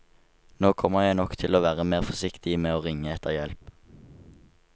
Nå kommer jeg nok til å være mer forsiktig med å ringe etter hjelp.